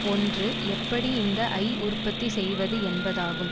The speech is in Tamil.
ஒன்று எப்படி இந்த ஐ உற்பத்தி செய்வது என்பதாகும்